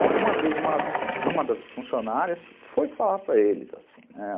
E uma vez uma uma das funcionárias foi falar para eles assim, né?